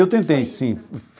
Eu tentei, sim.